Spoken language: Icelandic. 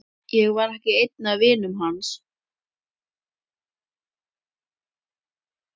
Ég var ekki einn af vinum hans.